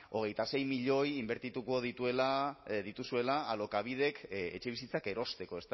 hogeita sei milioi inbertituko dituzuela alokabidek etxebizitzak erosteko